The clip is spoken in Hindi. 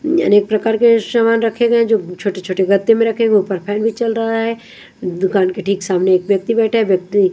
अनेक प्रकार के सामान रखे गए हैंजो छोटे-छोटे गत्ते में रखेंगे ऊपर फैन भी चल रहा है दुकान के ठीक सामने एक व्यक्ति बैठा है व्यक्ति --